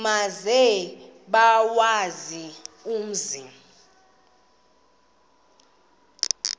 maze bawazi umzi